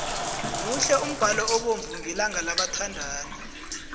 muhle umbalo obovu ngelanga labathandani